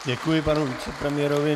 Děkuji panu vicepremiérovi.